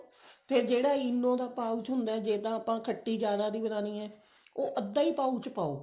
ਫ਼ੇਰ ਜਿਹੜਾ ENO ਦਾ pouch ਹੁੰਦਾ ਜੇ ਤਾਂ ਆਪਾਂ ਖੱਟੀ ਜਿਆਦਾ ਦੀ ਬਣਾਉਣੀ ਹੈ ਉਹ ਅੱਧਾ ਹੀ pouch ਪਾਓ